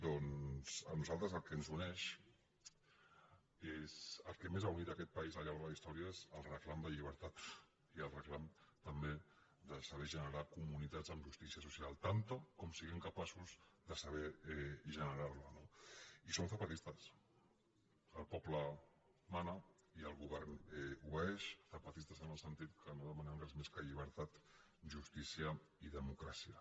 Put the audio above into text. doncs a nosaltres el que ens uneix el que més ha unit aquest país al llarg de la història és el reclam de llibertat i el reclam també de saber generar comunitats amb justícia social tanta com siguem capaços de saber generar no i som zapatistes el poble mana i el govern obeeix zapatistes en el sentit que no demanem res més que llibertat justícia i democràcia